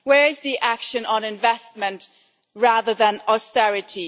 Where is the action on investment rather than austerity?